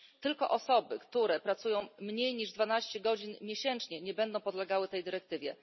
Tylko osoby, które pracują mniej niż dwanaście godzin miesięcznie, nie będą podlegały tej dyrektywie.